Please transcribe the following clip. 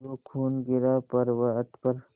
जो खून गिरा पवर्अत पर